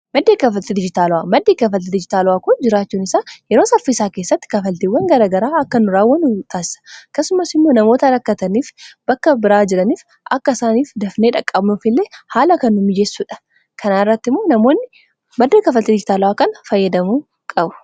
madda kaffaltii digitaalawa. maddi kafalti dijitaalawaa kun jiraachuun isaa yeroo saffisaa saa keessatti kafaltiiwwan garagaraa akka nu raawwannu nu taasisa akkasumas immoo namoota rakkataniif bakka biraa jiraniif akka isaaniif dafnee dhaqqabuuf illee haala kan u mijessuudha kanaa irratti maddee kafaltii dijitaala'aa kan fayyadamuu qabna.